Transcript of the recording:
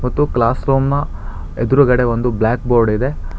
ತು ಕ್ಲಾಸ್ರೂಮ್ನ ಎದುರುಗಡೆ ಒಂದು ಬ್ಲಾಕ್ ಬೋರ್ಡ್ ಇದೆ.